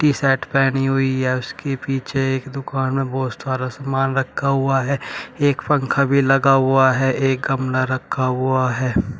T shirt पहनी हुई है उसके पीछे एक दुकान में बहुत सारा सामान रखा हुआ है एक पंखा भी लगा हुआ है एक गमला रखा हुआ है।